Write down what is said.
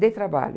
Dei trabalho.